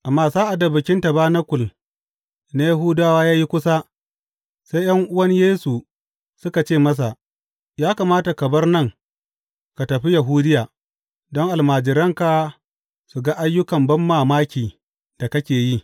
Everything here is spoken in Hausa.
Amma sa’ad da Bikin Tabanakul na Yahudawa ya yi kusa, sai ’yan’uwan Yesu suka ce masa, Ya kamata ka bar nan ka tafi Yahudiya, don almajiranka su ga ayyukan banmamaki da kake yi.